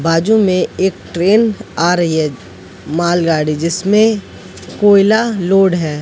बाजू में एक ट्रेन आ रही है मालगाड़ी जिसमें कोयला लोड है।